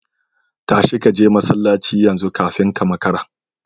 Tashi kaje masallaci yanzu kafin ka makara